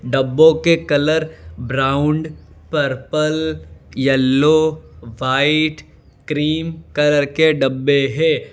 डब्बों के colour brown purple yellow white cream colour के डब्बे है।